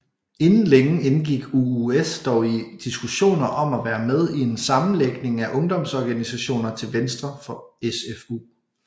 Inden længe indgik UUS dog i diskussioner om at være med i en sammenlægning af ungdomsorganisationerne til venstre for SFU